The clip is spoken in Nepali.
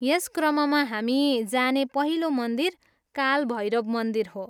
यस क्रममा हामी जाने पहिलो मन्दिर काल भैरव मन्दिर हो।